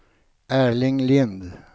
Erling Lindh